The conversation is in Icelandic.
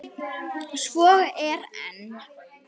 Svo er enn.